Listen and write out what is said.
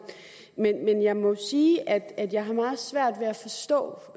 men jeg må sige at jeg har meget svært